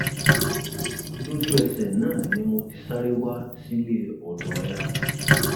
lójúẹsẹ náà ni mo ti sáré wá sílé ọdọ ẹ